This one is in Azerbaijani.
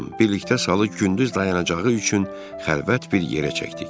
Birlikdə salı gündüz dayanacağı üçün xəlvət bir yerə çəkdik.